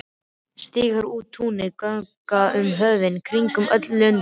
Stíga út á túnið, ganga um höfin, kringum öll löndin.